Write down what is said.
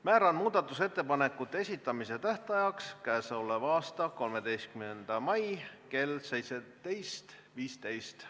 Määran muudatusettepanekute esitamise tähtajaks k.a 13. mai kell 17.15.